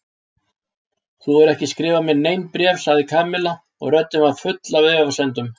Þú hefur ekki skrifað mér nein bréf sagði Kamilla og röddin var full af efasemdum.